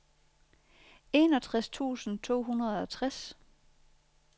enogtres tusind to hundrede og tres